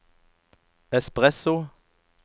espresso